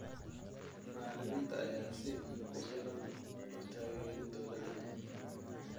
Macalimiinta ayaan si ku filan u taageerin dowladda.